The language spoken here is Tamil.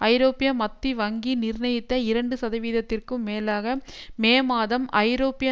ஐரோப்பிய மத்தி வங்கி நிர்ணயித்த இரண்டு சதவீதத்திற்கும் மேலாக மே மாதம் ஐரோப்பிய